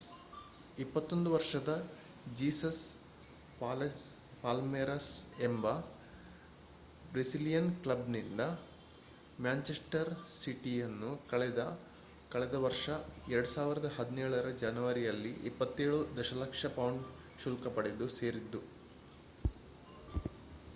21 ವರ್ಷದ Jesus Palmeiras ಎಂಬ Brazilian ಕ್ಲಬ್ನಿಂದ ಮ್ಯಾನ್ಚೆಸ್ಟರ್ ಸಿಟಿಯನ್ನು ಕಳೆದ ವರ್ಷ 2017ರ ಜನವರಿಯಲ್ಲಿ 27 ದಶಲಕ್ಷ ಪೌಂಡ್ ಶುಲ್ಕ ಪಡೆದು ಸೇರಿದ್ದ